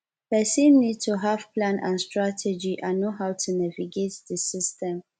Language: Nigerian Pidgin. pesin need to have plan and strategy and know how to navigate di system